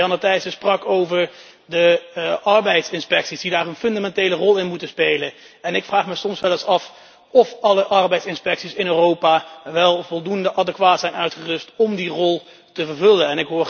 Marianne Thyssen sprak over de arbeidsinspecties die daarin een fundamentele rol moet spelen en ik vraag me soms wel eens af of alle arbeidsinspecties in Europa wel voldoende adequaat zijn uitgerust om die rol te vervullen.